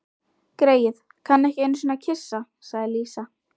Greyið, kann ekki einusinni að kyssa, sagði Lísa.